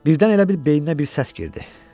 Birdən elə bil beyninə bir səs girdi.